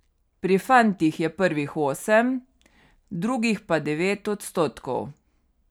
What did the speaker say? Pri fantih je prvih osem, drugih pa devet odstotkov.